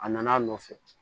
A nana a nɔfɛ